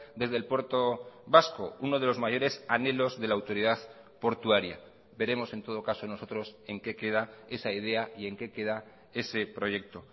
desde el puerto vasco uno de los mayores anhelos de la autoridad portuaria veremos en todo caso nosotros en qué queda esa idea y en qué queda ese proyecto